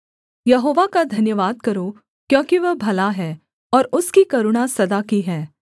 यहोवा का धन्यवाद करो क्योंकि वह भला है और उसकी करुणा सदा की है